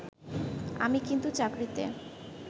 আমি কিন্তু চাকরিতে